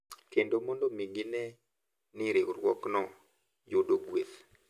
Kendo mondo gine ni riwruokno yudo gueth.